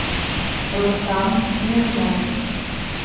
рустам смирнов